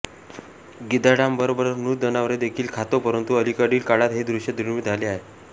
गिधाडांबरोबर मृत जनावरे देखील खातो परंतु अलीकडील काळात हे दृश्य दुर्मीळ झाले आहे